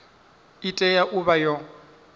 i tea u vha yo